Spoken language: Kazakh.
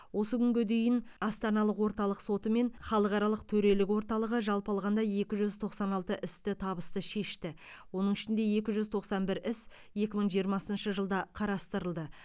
осы күнге дейін астаналық орталық соты мен халықаралық төрелік орталығы жалпы алғанда екі жүз тоқсан алты істі табысты шешті оның ішінде екі жүз тоқсан бір іс екі мың жиырмасыншы жылда қарастырылды